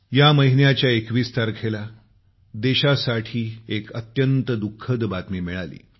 या महिन्याच्या 21 तारखेला देशासाठी एक अत्यंत दुखद बातमी मिळाली